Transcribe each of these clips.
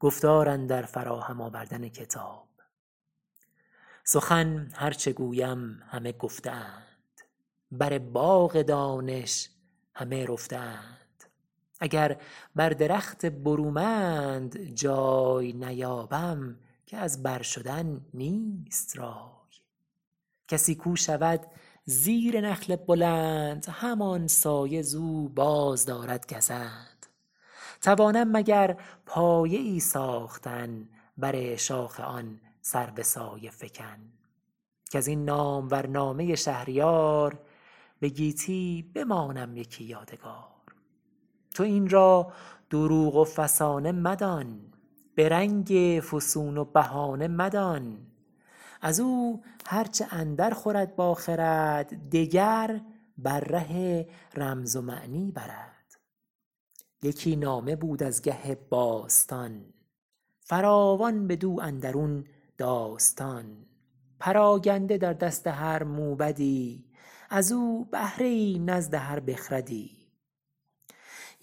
سخن هر چه گویم همه گفته اند بر باغ دانش همه رفته اند اگر بر درخت برومند جای نیابم که از بر شدن نیست رای کسی کو شود زیر نخل بلند همان سایه ز او بازدارد گزند توانم مگر پایه ای ساختن بر شاخ آن سرو سایه فکن کز این نامور نامه شهریار به گیتی بمانم یکی یادگار تو این را دروغ و فسانه مدان به رنگ فسون و بهانه مدان از او هر چه اندر خورد با خرد دگر بر ره رمز و معنی برد یکی نامه بود از گه باستان فراوان بدو اندرون داستان پراگنده در دست هر موبدی از او بهره ای نزد هر بخردی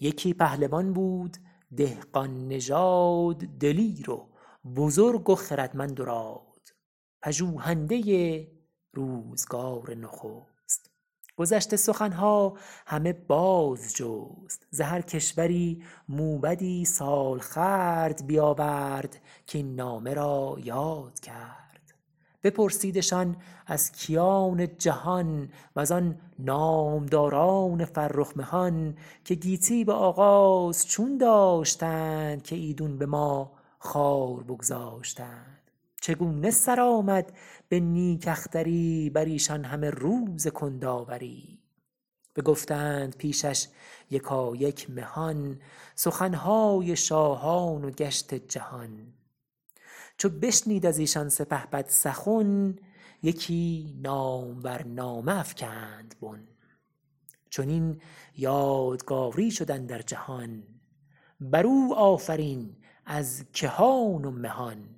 یکی پهلوان بود دهقان نژاد دلیر و بزرگ و خردمند و راد پژوهنده روزگار نخست گذشته سخن ها همه باز جست ز هر کشوری موبدی سال خورد بیاورد کاین نامه را یاد کرد بپرسیدشان از کیان جهان وزان نامداران فرخ مهان که گیتی به آغاز چون داشتند که ایدون به ما خوار بگذاشتند چگونه سر آمد به نیک اختری بر ایشان همه روز کندآوری بگفتند پیشش یکایک مهان سخن های شاهان و گشت جهان چو بشنید از ایشان سپهبد سخن یکی نامور نامه افکند بن چنین یادگاری شد اندر جهان بر او آفرین از کهان و مهان